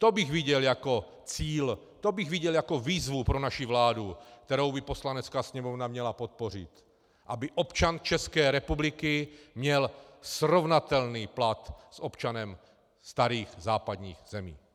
To bych viděl jako cíl, to bych viděl jako výzvu pro naši vládu, kterou by Poslanecká sněmovna měla podpořit, aby občan České republiky měl srovnatelný plat s občanem starých západních zemí.